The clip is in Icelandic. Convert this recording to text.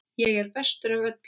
Ég er bestur af öllum!